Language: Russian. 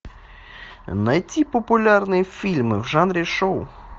найти популярные фильмы в жанре шоу